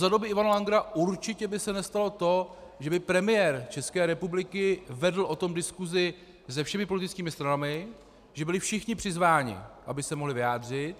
Za doby Ivana Langera určitě by se nestalo to, že by premiér České republiky vedl o tom diskusi se všemi politickými stranami, že byli všichni přizváni, aby se mohli vyjádřit.